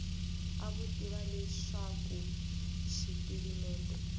a vo tiva leswaku xipirimente